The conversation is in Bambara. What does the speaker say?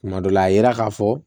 Tuma dɔ la a ye ka fɔ